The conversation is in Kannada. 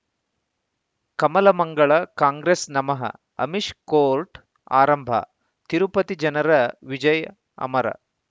ಕಮಲ ಮಂಗಳ ಕಾಂಗ್ರೆಸ್ ನಮಃ ಅಮಿಷ್ ಕೋರ್ಟ್ ಆರಂಭ ತಿರುಪತಿ ಜನರ ವಿಜಯ್ ಅಮರ